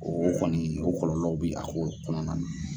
O kɔni o kɔrɔlɔw be a kow kɔnɔna